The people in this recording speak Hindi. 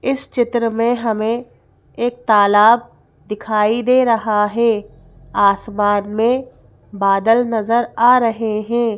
इस चित्र में हमें एक तालाब दिखाई दे रहा है आसमान में बादल नज़र आ रहे हैं।